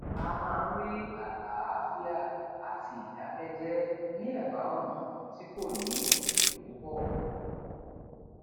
a máa ń rí àlàáfíà àti ìdákẹjẹ ní ẹbá ọnà tí kò ní èrò púpọ